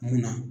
Munna